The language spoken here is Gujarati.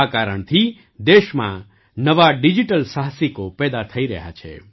આ કારણથી દેશમાં નવા ડિજિટલ સાહસિકો પેદા થઈ રહ્યા છે